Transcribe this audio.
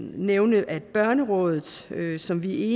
nævne at børnerådet som vi